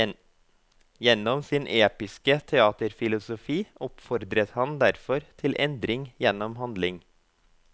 Gjennom sin episke teaterfilosofi oppfordret han derfor til endring gjennom handling.